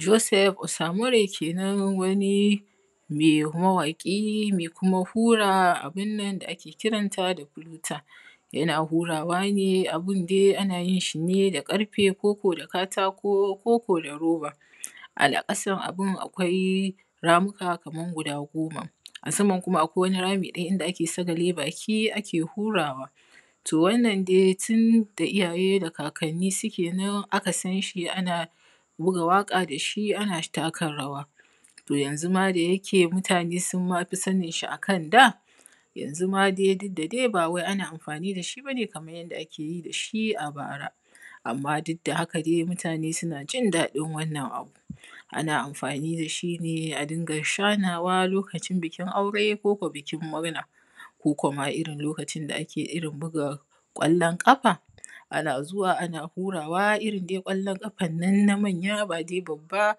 Joseph Osamure ke nan wani ne mawaƙi mai kuma hura abun nan da ake kiran ta da fuluta. Yana hurawa ne abun dai ana yin shi da ƙarfe ko ko da katako, ko ko da roba. A ƙasan abun akwai ramuka kamar guda goma, a saman kuma akwai wani rami ɗaya inda ake sagale baki ake hurawa. To, Wannan dai tun da iyaye da kakanni suke nan aka san shi ana buga waƙa da shi, ana taka rawa. To, yanzu ma da yake mutane sun ma fi sanin shi a kan da, yanzu ma dai duk da dai bawai ana amfani da shi ba ne kamar yadda ake yi da shi a bara, amma duk da haka dai mutane suna jin daɗin wannan abu. Ana amfani da shi ne a dinga shanawa lokacin bikin aure ko ko bikin murna, ko ko ma irin lokacin da ake irin buga ƙwallon ƙafa, ana zuwa ana hurawa, irin dai ƙwallon ƙafan nan na manya ba dai babba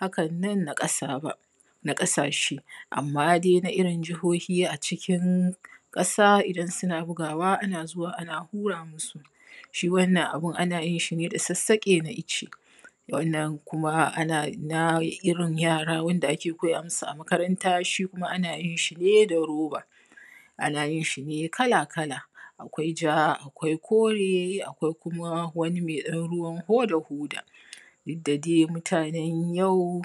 hakan nan na ƙasa ba, na ƙasashe, amma dai na irin Jihohi a cikin ƙasa idan suna bugawa ana zuwa ana hura musu. Shi wannan abun ana yin shi ne da sassaƙe na ice. Wannan kuma ana, na irin yara wanda ake koya musu a makaranta, shi kuma ana yin shi ne da roba; ana yin shi ne kala-kala; akwai ja, akwai kore, akwai kuma wani mai ɗan ruwan hoda-hoda. Duk da dai mutanen yau,